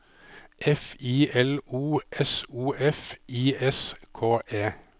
F I L O S O F I S K E